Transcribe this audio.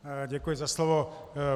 Děkuji za slovo.